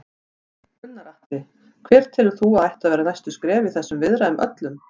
Gunnar Atli: Hver telur þú að ættu að vera næstu skref í þessum viðræðum öllum?